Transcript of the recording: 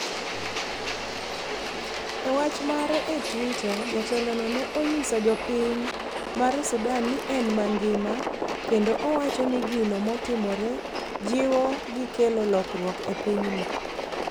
E wach mare e twitter jatelo no ne onyiso jopiny mar sudan ni en mangima kendo owacho ni gino motimore jiwo gi kelo lokruok e pinyno